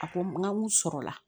A ko n ka n sɔrɔ la